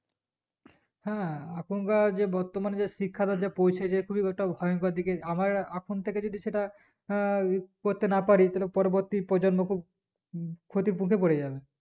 হ্যাঁ এখনকার যে বর্তমান যে শিক্ষাটা যে পৌঁছেছে খুবই ওটা ভয়ঙ্কর দিকে আভাইয়া এখনথেকে যদি সেটা আহ করতে না পারে তাহলে পরবর্তী প্রজন্মকে উ ক্ষতির মুখে পড়েযাবে